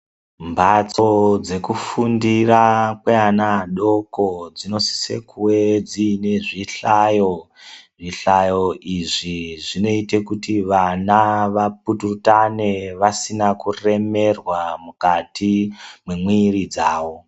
Mbatso dzekufundira kweana adoko dzinosise kuwe dziine zvihlayo zvihlayo izvi zvinoite kuti vana vapututane vasina kuremerwa mukati mwemwiri dzavo .